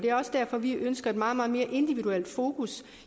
er også derfor vi ønsker et meget meget mere individuelt fokus